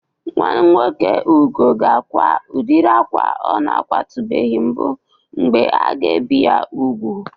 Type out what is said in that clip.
Nwa nwoke Ugo ga-akwa udịri akwa ọ na-akwatụbeghi mbụ mgbe a ga-ebi ya ubu.